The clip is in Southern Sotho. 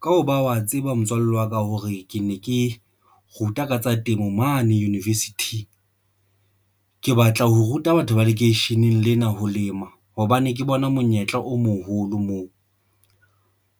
Ka hoba wa tseba motswalle wa ka hore ke ne ke ruta ka tsa temo mane university, ke batla ho ruta batho ba lekeisheneng lena ho lema hobane ke bona monyetla o moholo moo